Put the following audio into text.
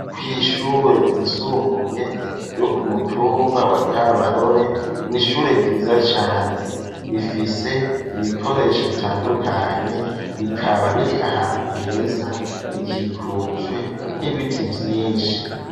Kw'ishure ryisumbuye ryo ku mutumba wa kabarore n'ishure ryiza cane rifise ibikoresho bitandukanye rikaba riri ahantu heza rikikujwe n'ibiti vyinshi.